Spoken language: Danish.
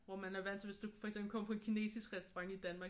Hvor man er vant til hvis du for eksempel kommer på en kinesisk restaurant i Danmark